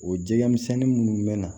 O jɛgɛmisɛnnin munnu bɛ na